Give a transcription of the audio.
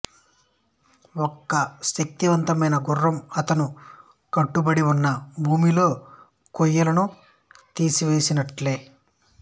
ఒక శక్తివంతమైన గుర్రం అతను కట్టుబడి ఉన్న భూమిలో కొయ్యలను తీసివేసినట్లే